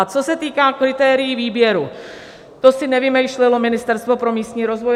A co se týká kritérií výběru, to si nevymýšlelo Ministerstvo pro místní rozvoj.